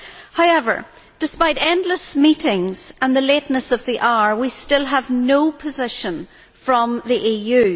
However, despite endless meetings and the lateness of the hour, we still have no position from the EU.